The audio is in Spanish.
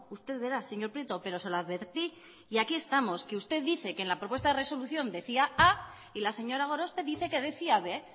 usted verá señor prieto pero se lo advertí y aquí estamos que usted dice que en la propuesta de resolución decía a y la señora gorospe dice que decía b